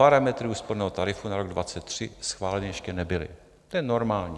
Parametry úsporného tarifu na rok 2023 schváleny ještě nebyly, to je normální.